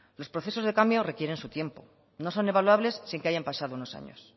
los procesos de cambio requieren su tiempo no son evaluables sin que hayan pasado unos años